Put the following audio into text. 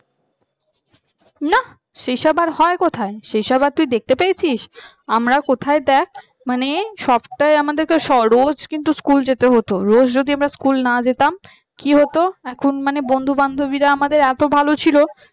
না সেই সব আর হয় কোথায়? সেই সব আর তুই দেখতে পেয়েছিস আমরা কোথায় দেখ মানে সপ্তাহ এ আমাদিকে স রোজ কিন্তু স্কুল যেতে হতো রোজ যদি আমরা স্কুল না যেতাম কি হতো এখন মানে বন্ধু বান্ধবীরা আমাদের এত ভাল ছিল